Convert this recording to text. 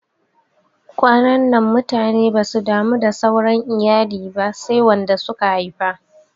Kwanannan mutane basu damu da sauran iyali ba sai wanda suka haifa